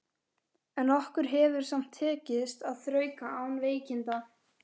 En okkur hefur samt tekist að þrauka án veikinda.